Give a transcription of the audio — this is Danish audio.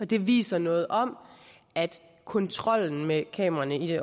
det viser noget om at kontrollen med kameraerne i